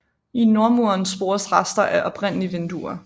I nordmuren spores rester af oprindelige vinduer